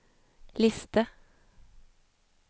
liste